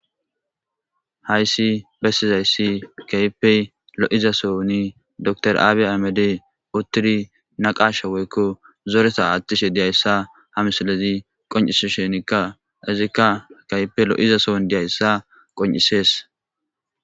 hayssi bessizayssi kaypey lo7izasoni dr aabi amed uttiri naqasha woykko zoreta aattishe diyayssa hamsalezi qon7isi shenikka izikka kaype lo7izason diyayssa qon7isees